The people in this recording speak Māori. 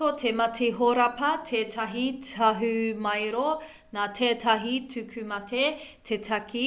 ko te mate hōrapa tētahi tahumaero nā tētahi tukumate te take